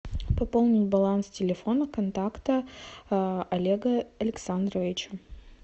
пополнить баланс телефона контакта олега александровича